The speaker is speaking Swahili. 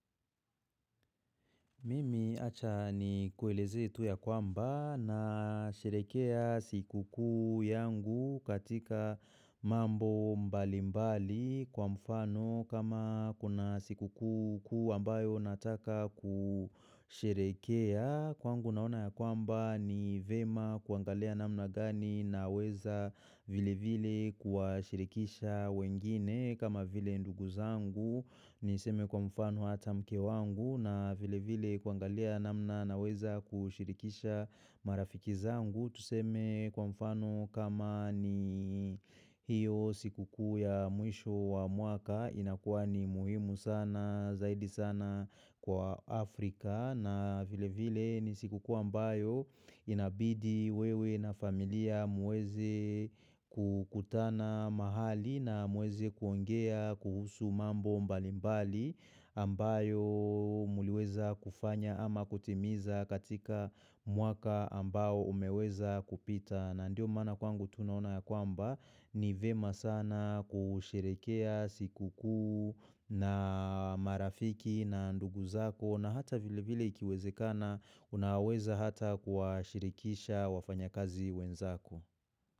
Mimi acha ni kueleze tu ya kwamba na nasherekea siku kuu yangu katika mambo mbali mbali kwa mfano kama kuna siku kuu ambayo nataka kusherekea. Kwa ngu naona ya kwamba ni vema kuangalia namna gani na weza vile vile kuwa shirikisha wengine kama vile ndugu zangu ni seme kwa mfano hata mke wangu na vile vile kuangalia namna na weza kushirikisha marafiki zangu Tuseme kwa mfano kama ni hiyo siku kuu ya mwisho wa mwaka inakuwa ni muhimu sana zaidi sana kwa Afrika na vile vile ni siku ambayo inabidi wewe na familia muweze kukutana mahali na muweze kuongea kuhusu mambo mbalimbali ambayo muliweza kufanya ama kutimiza katika mwaka ambao umeweza kupita. Na ndio maana kwangu tunaona ya kwamba ni vema sana kusherekea sikukuu na marafiki na ndugu zako na hata vile vile ikiweze kana unaweza hata kuwa shirikisha wafanya kazi wenzako.